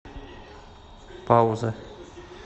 пауза